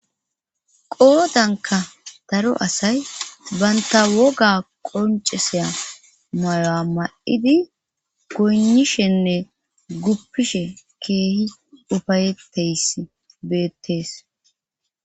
qoodanka daro asay baynta woga qonceseya mayoa ma7idi gonishenne guppishe keehi ufayetteys beettees